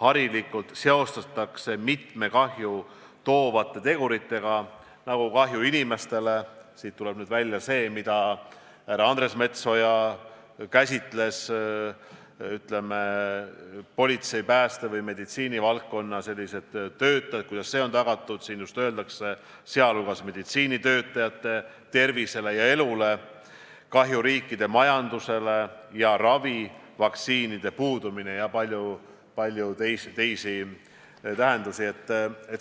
harilikult seostatakse mitmete kahju toovate teguritega, näiteks kahjuga inimestele – siit tuleb nüüd välja see, mida härra Andres Metsoja käsitles seoses politsei, pääste- ja meditsiinivaldkonna töötajatega, sellega, kuidas nende valdkondade toimimine on tagatud –, sh kahjuga meditsiinitöötajate tervisele ja elule, kahjuga riikide majandusele, ravi ja vaktsiinide puudumisega ja palju muuga.